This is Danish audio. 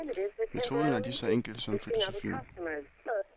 Metoden er lige så enkel som filosofien.